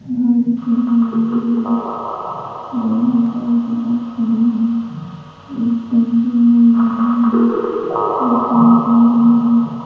गाड़ी चला रहा है दो लोग गाड़ी के पास खड़े हैं एक टेम्पो मुड़ रहा है एक कार जा रही है।